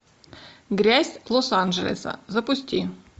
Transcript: грязь лос анджелеса запусти